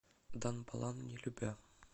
дан балан не любя